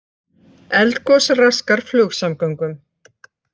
Eldgos raskar flugsamgöngum